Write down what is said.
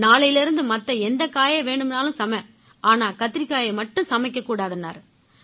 நாளைலேர்ந்து மத்த எந்தக் காயை வேணும்னாலும் சமை ஆனா கத்திரிக்காயை மட்டும் சமைக்கவே கூடாதுன்னாரு